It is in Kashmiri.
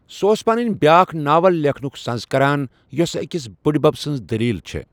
سہ اوس پنٕنۍ بیٛاکھ ناول لیکھنُک سٕنز کران، یوسہٕ اکِس بُڈِ بب سٕنز دلیل چھےٚ ۔